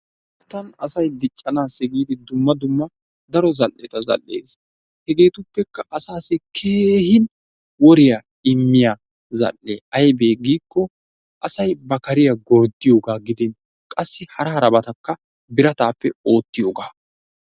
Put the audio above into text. Wolayttan asay diccanaassi giidi dumma dumma daro zal'etta zal'ees. Hegeetuppekka asaassi keehin woriya immiya zal'ee aybee giikko asay ba kariya gorddiyogaa gidin qassi hara harabatakka biratappe oottiyogaa.